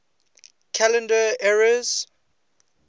calendar eras